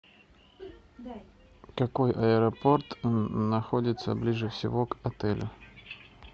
какой аэропорт находится ближе всего к отелю